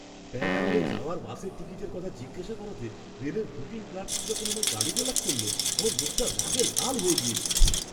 ব্যাঙ্গালোরে যাওয়ার বাসের টিকিটের কথা জিজ্ঞাসা করাতে রেলের বুকিং ক্লার্কটা যখন আমায় গালিগালাজ করল আমার মুখটা রাগে লাল হয়ে গেছিল।